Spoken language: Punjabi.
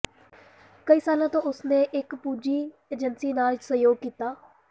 ਕਈ ਸਾਲਾਂ ਤੋਂ ਉਸ ਨੇ ਇਕ ਪੂੰਜੀ ਏਜੰਸੀ ਨਾਲ ਸਹਿਯੋਗ ਕੀਤਾ